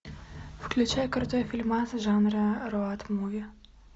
включай крутой фильмас жанра роуд муви